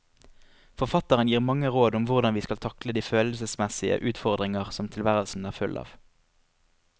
Forfatteren gir mange råd om hvordan vi skal takle de følelsesmessige utfordringer som tilværelsen er full av.